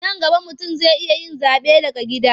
Nan gaba mutum zai iya yin zaɓe daga gida.